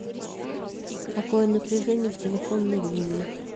какое напряжение в телефонной линии